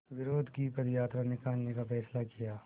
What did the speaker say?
विरोध की पदयात्रा निकालने का फ़ैसला किया